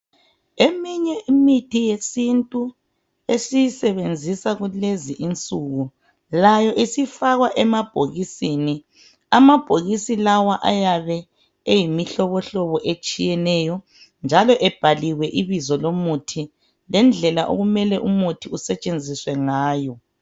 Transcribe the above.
Eminye imithi yesintu esiyisebenzisa kulezi insuku .Layo isifakwa emabhokisini .Amabhokisi lawa ayabe eyimihlobohlobo etshiyeneyo njalo ebhaliwe ibizo lomuthi lendlela okumele umuthi usetshenziswe ngayo .